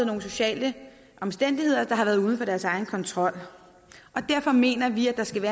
nogle sociale omstændigheder der har været uden for deres egen kontrol og derfor mener vi der skal